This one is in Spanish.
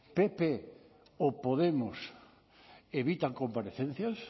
pp o podemos evitan comparecencias